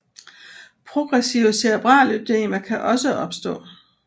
Progressive cerebral ødemer kan også opstå